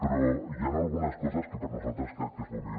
però hi han algunes coses que per nosaltres crec que es poden millorar